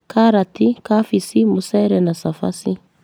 Karati, kabici, mucere na cafaci.